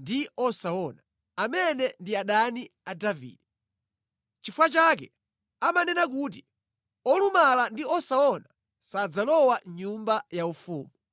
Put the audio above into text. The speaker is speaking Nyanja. ndi osaona,’ amene ndi adani a Davide.” Nʼchifukwa chake amanena kuti, “Olumala ndi osaona sadzalowa mʼnyumba yaufumu.”